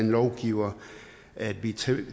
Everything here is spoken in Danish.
lovgiver